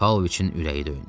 Paoviçin ürəyi döyündü.